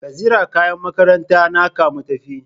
Ka zira kayan makarantan naka mu tafi